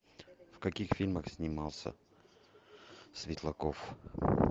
в каких фильмах снимался светлаков